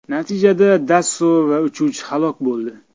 Natijada Dasso va uchuvchi halok bo‘ldi.